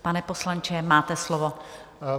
Pane poslanče, máte slovo.